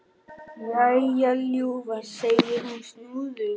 Jæja, ljúfan, segir hún snúðug.